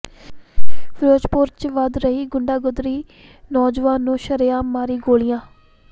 ਫਿਰੋਜ਼ਪੁਰ ਚ ਵੱਧ ਰਹੀ ਗੁੰਡਾਗਰਦੀ ਨੌਜਵਾਨ ਨੂੰ ਸ਼ਰੇਆਮ ਮਾਰੀਆਂ ਗੋਲੀਆਂ